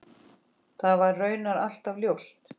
Það var raunar alltaf ljóst.